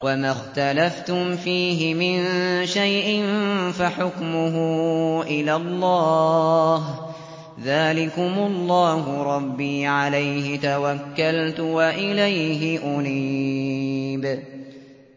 وَمَا اخْتَلَفْتُمْ فِيهِ مِن شَيْءٍ فَحُكْمُهُ إِلَى اللَّهِ ۚ ذَٰلِكُمُ اللَّهُ رَبِّي عَلَيْهِ تَوَكَّلْتُ وَإِلَيْهِ أُنِيبُ